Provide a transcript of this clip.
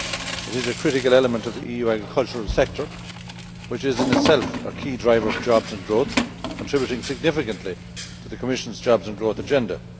It is a critical element of the EU agricultural sector, which is in itself a key driver of jobs and growth, contributing significantly to the Commission's jobs and growth agenda.